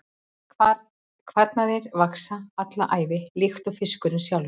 Kvarnirnar vaxa alla ævi líkt og fiskurinn sjálfur.